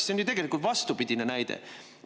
See on ju tegelikult vastupidine näide.